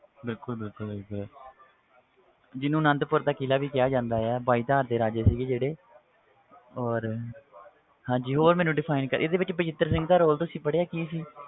ਬਿਲਕੁਲ ਬਿਲਕੁਲ ਬਿਲਕੁਲ ਜਿਹਨੂੰ ਅਨੰਦਪੁਰ ਦਾ ਕਿਲ੍ਹਾ ਵੀ ਕਿਹਾ ਜਾਂਦਾ ਆ ਬਾਈਧਾਰ ਦੇ ਰਾਜੇ ਸੀਗੇ ਜਿਹੜੇ ਔਰ ਹਾਂਜੀ ਹੋਰ ਮੈਨੂੰ define ਕ~ ਇਹਦੇ ਵਿੱਚ ਬਚਿੱਤਰ ਸਿੰਘ ਦਾ role ਤੁਸੀਂ ਪੜ੍ਹਿਆ ਕੀ ਸੀ?